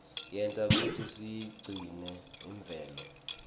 yenta kutsi siyigcine imvelo